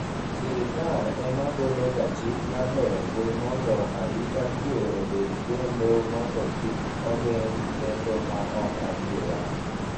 sirikal ema golo ga chik mar loro mbui mondo arita kwe obedi kendo mondo kik ogeng' lendo ma ok adieri